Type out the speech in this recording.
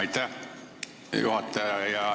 Aitäh, juhataja!